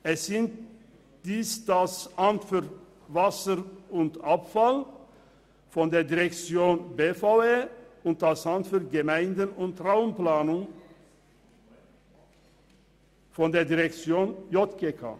Es sind dies das Amt für Wasser und Abfall (AWA) der Direktion BVE und das Amt für Gemeinden und Raumplanung (AGR) der JGK.